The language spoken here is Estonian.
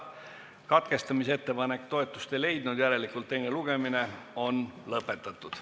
Kuna katkestamisettepanek toetust ei leidnud, on teine lugemine lõpetatud.